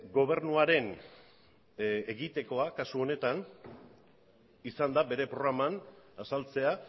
gobernuaren egitekoa kasu honetan izan da bere programan azaltzea